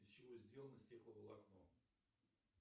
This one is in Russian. из чего сделано стекловолокно